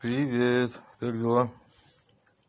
привет как дела